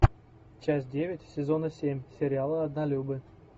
часть девять сезона семь сериала однолюбы